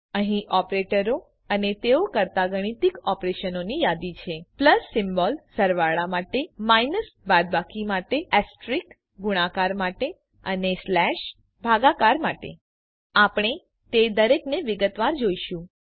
અહીં ઓપરેટરો અને તેઓ કરતા ગાણિતિક ઓપરેશનોની યાદી છે પ્લસ સિમ્બોલ સરવાળા માટે માઇનસ બાદબાકી માટે એસ્ટરિસ્ક ગુણાકાર માટે અને સ્લેશ ભાગાકાર માટે આપણે તે દરેકને વિગતવાર જોઈશું